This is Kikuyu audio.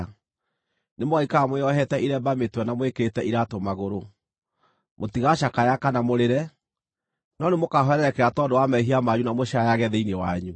Nĩmũgaikara mwĩohete iremba mĩtwe na mwĩkĩrĩte iraatũ magũrũ. Mũtigacakaya kana mũrĩre, no nĩmũkahwererekera tondũ wa mehia manyu na mũcaayage thĩinĩ wanyu.